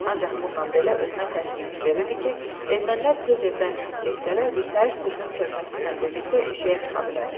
Ancaq bununla belə özünə təskinlik verirdi ki, ermənilər tez evdən çıxıb getsələr, birtəhər sürünüb körpəsi ilə birlikdə eşiyə çıxa bilər.